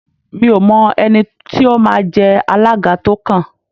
Mi ò mọ ẹni tí ó máa jẹ alága tó kàn